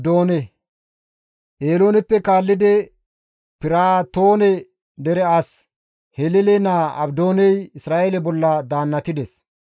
Eelooneppe kaallidi Piraatoone dere as Hilele naa Abdooney Isra7eele bolla daannatides.